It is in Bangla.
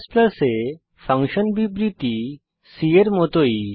C এ ফাংশন বিবৃতি C এর মতই